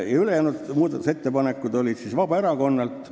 Järgmised muudatusettepanekud olid Vabaerakonnalt.